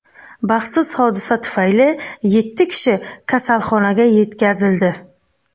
Baxtsiz hodisa tufayli yetti kishi kasalxonaga yetkazildi.